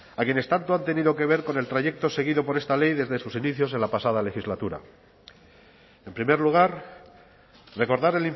a quienes tanto han tenido que ver con el trayecto seguido por esta ley desde sus inicios en la pasada legislatura en primer lugar recordar